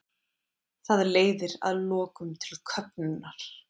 Það leiðir að lokum til köfnunar.